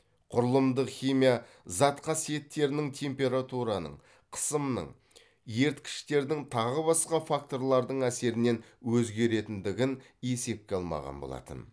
құрылымдық химия зат қасиеттерінің температураның қысымның еріткіштердің тағы басқа факторлардың әсерінен өзгеретіндігін есепке алмаған болатын